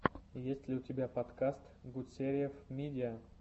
есть ли у тебя подкаст гутсериев мидиа